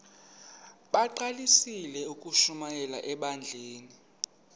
bagqalisele ukushumayela ebandleni